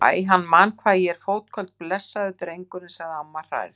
Æ, hann man hvað ég er fótköld, blessaður drengurinn sagði amma hrærð.